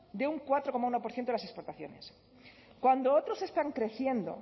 de un cuatro coma uno por ciento de las exportaciones cuando otros están creciendo